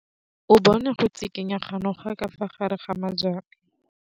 O bone go tshikinya ga noga ka fa gare ga majang.